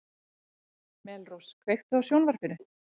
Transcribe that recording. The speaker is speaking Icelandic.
Melrós, kveiktu á sjónvarpinu.